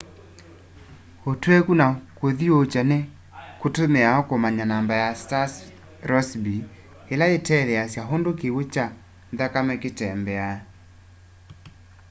ũtwekũ na kũthĩũũkya nĩ kũtũmĩawa kũmanya namba ya star's rossby ĩla yĩeleasya ũndũ kĩw'ũ kya nthakame kĩtembeaa